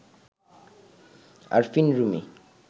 Arfin Rumi